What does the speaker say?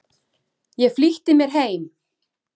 Ég flýtti mér heim.